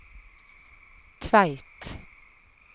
Tveit